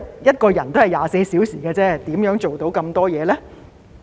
一個人1天只有24小時而已，如何做到那麼多工作呢？